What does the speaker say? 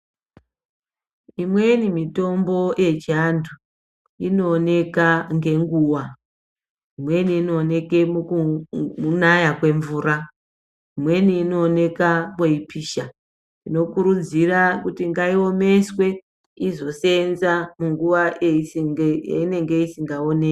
Imweni mitombo yechiantu inooneka ngenguwa imweni inooneke mukunaya kwemvura inweni inooneke kweipisha tinokurudzira kuti ngaioneswe izoseenza munguwa yeinenge isingaoneki.